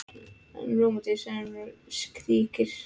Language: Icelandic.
En rómantískt, segir hún og skríkir.